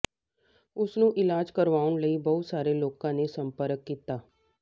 ਉਸ ਨੂੰ ਇਲਾਜ ਕਰਵਾਉਣ ਲਈ ਬਹੁਤ ਸਾਰੇ ਲੋਕਾਂ ਨੇ ਸੰਪਰਕ ਕੀਤਾ